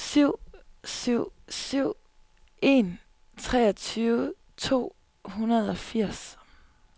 syv syv syv en treogtyve to hundrede og firs